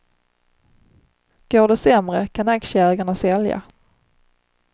Går det sämre, kan aktieägarna sälja.